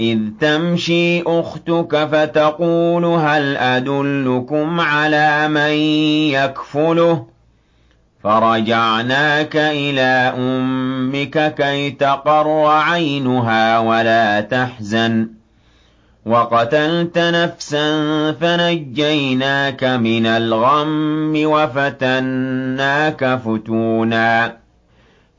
إِذْ تَمْشِي أُخْتُكَ فَتَقُولُ هَلْ أَدُلُّكُمْ عَلَىٰ مَن يَكْفُلُهُ ۖ فَرَجَعْنَاكَ إِلَىٰ أُمِّكَ كَيْ تَقَرَّ عَيْنُهَا وَلَا تَحْزَنَ ۚ وَقَتَلْتَ نَفْسًا فَنَجَّيْنَاكَ مِنَ الْغَمِّ وَفَتَنَّاكَ فُتُونًا ۚ